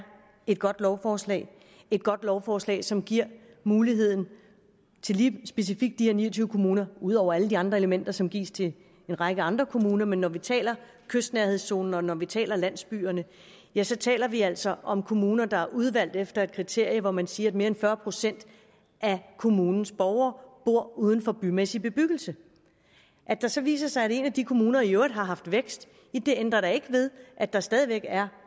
et godt lovforslag godt lovforslag som giver muligheden til lige specifikt de her ni og tyve kommuner ud over alle de andre elementer som gives til en række andre kommuner men når vi taler kystnærhedszonen og når vi taler landsbyerne ja så taler vi altså om kommuner der er udvalgt efter et kriterie hvor man siger at mere end fyrre procent af kommunens borgere bor uden for bymæssig bebyggelse at det så viser sig at en af de kommuner i øvrigt har haft vækst det ændrer da ikke ved at der stadig væk er